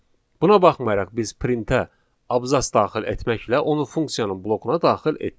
Buna baxmayaraq biz printə abzas daxil etməklə onu funksiyanın blokuna daxil etdik.